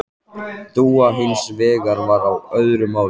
Dúa hins vegar var á öðru máli.